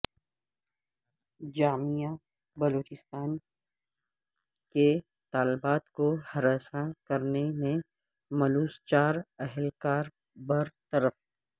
جامعہ بلوچستان کے طالبات کو ہراساں کرنے میں ملوث چار اہلکار بر طرف